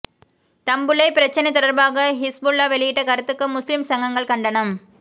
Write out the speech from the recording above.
தம்புள்ளை பிரச்சினை தொடர்பாக ஹிஸ்புல்லா வெளியிட்ட கருத்துக்கு முஸ்லிம் சங்கங்கள் கண்டனம்